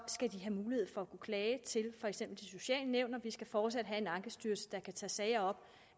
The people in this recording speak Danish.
skal de have mulighed for at kunne klage til for eksempel de sociale nævn og vi skal fortsat have en ankestyrelse der kan tage sager